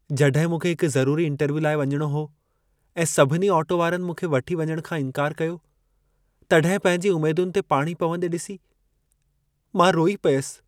जॾहिं मूंखे हिक ज़रुरी इंटरव्यू लाइ वञणो हो ऐं सभिनी ऑटो वारनि मूंखे वठी वञण खां इंकारु कयो, तॾहिं पंहिंजी उमेदुनि ते पाणी पवंदे ॾिसी मां रोई पियसि।